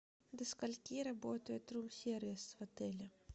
до скольки работает рум сервис в отеле